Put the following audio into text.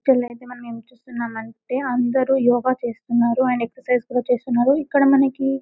క్రింద మనము ఏమి చూస్తున్నాము అంటే అందరు యోగ చేస్తున్నారు అండ్ ఎక్సర్సిస్ కూడా చేస్తున్నారు ఇక్కడ మనకి --